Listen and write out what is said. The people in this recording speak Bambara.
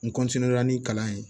N ni kalan ye